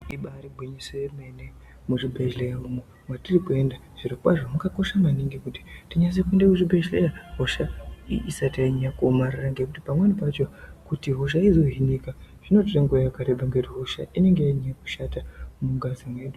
Ibariri gwinyiso yemene, muzvibhedhlera umo matirikuenda, zvirokwazvo zvakakosha maningi kuti tinyase kuenda kuzvibhedhlera hosha isati yanyanya kuomarara, ngekuti pamweni pacho kuti hosha izohinika zvinotore nguva yakareba ngekuti hosha inenge yanyanya kushata mungazi mwedu.